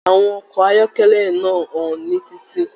Àwọn ọkọ ayọkẹlẹ náà n ho ní titi.